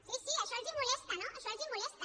sí sí això els molesta no això els molesta